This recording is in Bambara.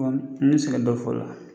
ne bi se ka dɔ fɔ o la.